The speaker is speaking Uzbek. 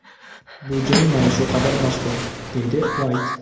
Bu jang mana shu qadar mashhur”, deydi Uayt.